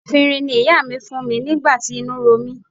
Efinrin ni ìyá mi fún mi nígbà tí inú ro mí.